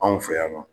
Anw fɛ yan nɔ